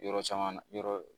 Yɔrɔ caman yɔrɔ